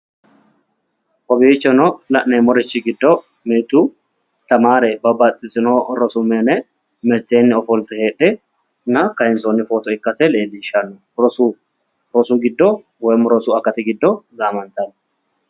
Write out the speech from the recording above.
Kaowichono la'neemorchi giddo mitu tamaare babbaxtino rosu mine miteeni ofolite heedhena kayinsooni footo ikkase leelishano, rosu akati giddo gaamanitano